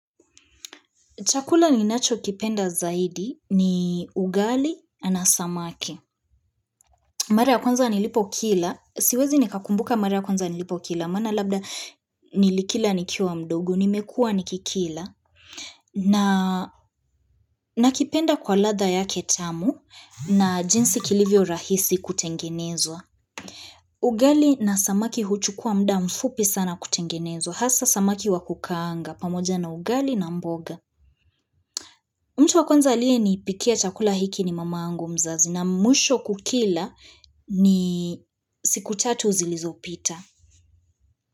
Chakula ninachokipenda zaidi ni ugali na samaki. Mara ya kwanza nilipo kila. Siwezi nikakumbuka mara ya kwanza nilipo kila. Maana labda nilikila nikiwa mdogo, nimekuwa nikikila. Nakipenda kwa ladha yake tamu na jinsi kilivyo rahisi kutengenezwa. Ugali na samaki huchukua muda mfupi sana kutengenezwa. Hasa samaki wa kukaanga pamoja na ugali na mboga. Mtu wa kwanza aliyenipikia chakula hiki ni mama yangu mzazi na mwisho kukila ni siku tatu zilizopita.